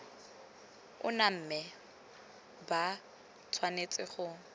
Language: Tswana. ona mme ba tshwanetse go